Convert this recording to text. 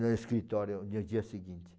no escritório no dia seguinte.